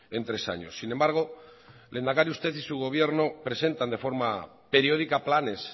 en tres años sin embargo lehendakari usted y su gobierno presentan de forma periódica planes